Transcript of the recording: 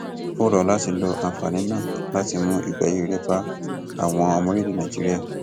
ó rọ ọ láti lo àǹfààní náà láti mú ìgbé ayé rere bá àwọn ọmọ orílẹèdè nàíjíríà